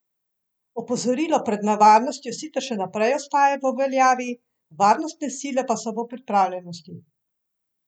Opozorilo pred nevarnostjo sicer še naprej ostaja v veljavi, varnostne sile pa so v pripravljenosti.